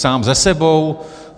Sám se sebou?